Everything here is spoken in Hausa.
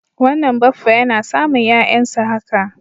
Wannan baffa yana samun 'ya'yansa haka.